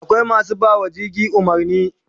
Akwai masu bawa jirgi umarni